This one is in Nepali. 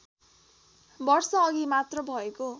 वर्षअघि मात्र भएको